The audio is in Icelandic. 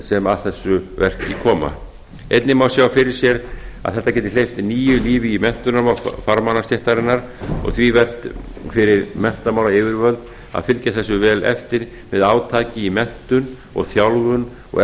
sem að þessu verki koma einnig má sjá fyrir sér að þetta geti hleypt nýju lífi í menntunarmál farmannastéttarinnar og því vert fyrir menntamálayfirvöld að fylgja þessu vel eftir með átaki í menntun og þjálfun og